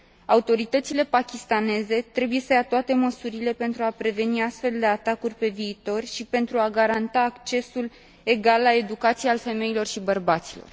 Autoritățile pakistaneze trebuie să ia toate măsurile pentru a preveni astfel de atacuri pe viitor și pentru a garanta accesul egal la educație al femeilor și bărbaților.